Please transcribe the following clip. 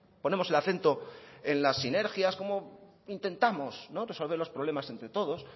ponemos el acento en las sinergias cómo intentamos resolver los problemas entre todos